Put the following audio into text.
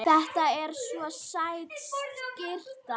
Þetta er svo sæt skyrta.